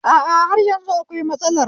A a, har yanzu akwai matsalar